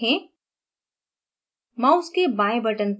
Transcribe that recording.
अणु पर cursor रखें